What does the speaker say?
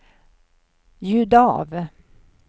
ljud av